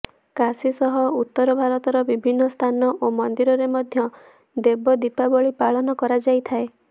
କାଶୀ ସହ ଉତ୍ତର ଭାରତର ବିଭିନ୍ନ ସ୍ଥାନ ଓ ମନ୍ଦିରରେ ମଧ୍ୟ ଦେବ ଦୀପାବଳି ପାଳନ କରାଯାଇଥାଏ